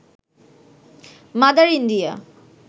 mother India